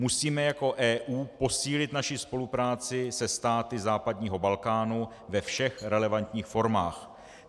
Musíme jako EU posílit naši spolupráci se státy západního Balkánu ve všech relevantních formách.